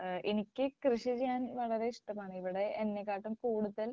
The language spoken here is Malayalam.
ഏഹ് എനിക്ക് കൃഷിചെയ്യാൻ വളരെ ഇഷ്ടമാണ് ഇവിടെ എന്നെ കാട്ടിലും കൂടുതൽ